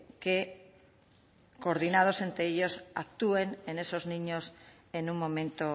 que coordinados entre ellos actúen en esos niños en un momento